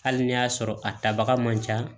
Hali n'i y'a sɔrɔ a tabaga man ca